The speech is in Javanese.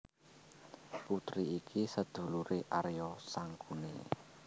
Putri iki seduluré Arya Sangkuni